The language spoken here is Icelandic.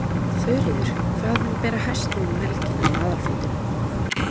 Þuríður, hvað mun bera hæst núna um helgina á aðalfundinum?